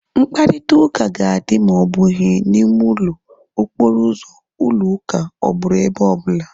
Mkparịta ụka ga-adị ma ọ bụghị na ime ụlọ, okporo ụzọ, ụlọ ụka ọ bụrụ ebe ọ bụla